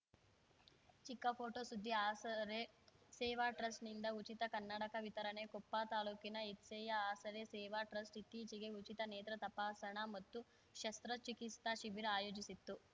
ಚಿಕ್ಕ ಫೋಟೋ ಸುದ್ದಿ ಆಸರೆ ಸೇವಾ ಟ್ರಸ್ಟ್ ನಿಂದ ಉಚಿತ ಕನ್ನಡಕ ವಿತರಣೆ ಕೊಪ್ಪ ತಾಲೂಕಿನ ಹೆದ್ಸೆಯ ಆಸರೆ ಸೇವಾ ಟ್ರಸ್ಟ್‌ ಇತ್ತೀಚೆಗೆ ಉಚಿತ ನೇತ್ರ ತಪಾಸಣಾ ಮತ್ತು ಶಸ್ತ್ರಚಿಕಿತ್ಸಾ ಶಿಬಿರ ಆಯೋಜಿಸಿತ್ತು